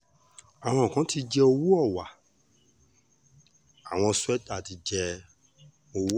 àwọn kan ti jẹ owó họwá àwọn swater ti jẹ́ owó họwà